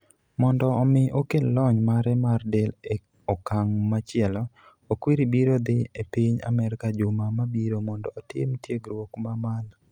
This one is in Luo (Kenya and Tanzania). Mondo omi okel lony mare mar del e okang' machielo, Okwiri biro dhi e piny Amerka juma mabiro mondo otim tiegruok ma malo.